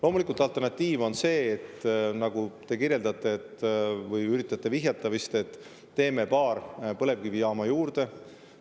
Loomulikult, alternatiiv, mida te kirjeldasite või millele te vist üritasite vihjata, on see, et teeme paar põlevkivijaama juurde.